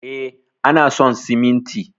E, ana son siminti